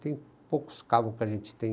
Tem poucos caval que a gente tem